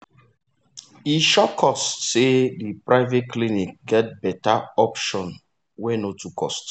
e shock us say the private clinic get better option wey no too cost.